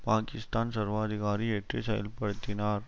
பாக்கிஸ்தான் சர்வாதிகாரி ஏற்று செயல்படுத்தினார்